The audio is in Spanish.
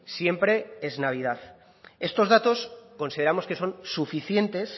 siempre es navidad estos datos consideramos que son suficientes